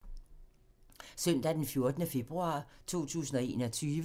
Søndag d. 14. februar 2021